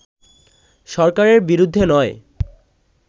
সরকারের বিরুদ্ধে নয়